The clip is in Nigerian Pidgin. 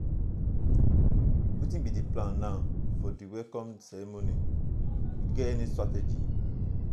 wetin be di plan now for di welcome ceremony you get any strategy?